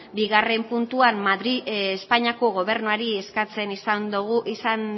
bigarren puntua espainiako gobernuari eskatzen izan